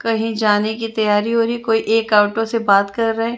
कहीं जाने कि तैयारी हो रही है कोई एक ऑटो से बात कर रहे हैं।